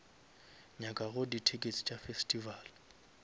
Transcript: nyakago di tickets tša festival